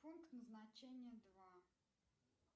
пункт назначения два